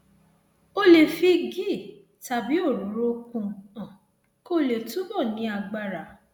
o lè fi ghee tàbí òróró kún un kó lè túbọ ní agbára